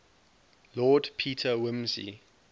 lord peter wimsey